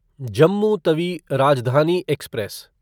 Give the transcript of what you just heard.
Jammu Tawi Rajdhani express